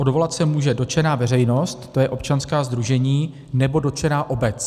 Odvolat se může dotčená veřejnost, to jsou občanská sdružení nebo dotčená obec.